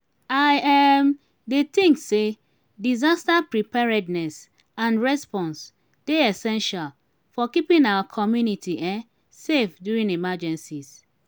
i um dey think say disaster preparedness and response dey essential for keeping our community um safe during emergencies.